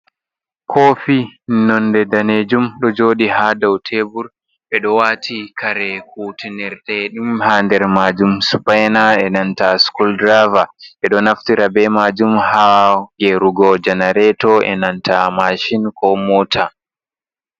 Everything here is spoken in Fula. Kofi nnonde danejum ɗo jodi ha daw tebur ɓeɗo wati kare kutinirtaedin ha nder majum spaina e nanta scul draver, ɓeɗo naftira be majum ha geyerugo janareto e nanta mashin ko mota.